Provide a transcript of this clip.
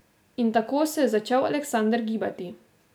In tako se je začel Aleksander gibati.